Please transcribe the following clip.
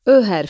Ö hərfi.